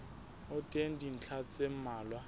ho teng dintlha tse mmalwa